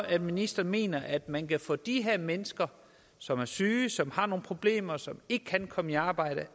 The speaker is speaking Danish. ministeren mener at man kan få de her mennesker som er syge og som har nogle problemer og som ikke kan komme i arbejde